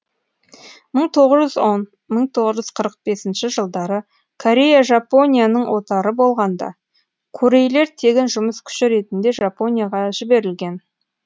мың тоғыз жүз он мың тоғыз жүз қырық бесінші жылдары корея жапонияның отары болғанда корейлер тегін жұмыс күші ретінде жапонияға жіберілген